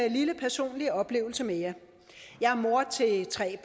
en lille personlig oplevelse med jer jeg er mor til tre